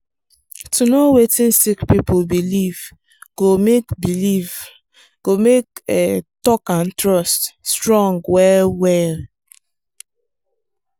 to know wetin sick people believe go make believe go make talk and trust strong well well.